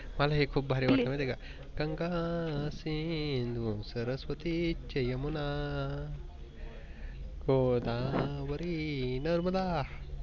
मला हे खूप भारी वाटे माहित आहे का? गंगा, शिन्धू, सरस्वती च यमुन गोदावारी, नर्मदा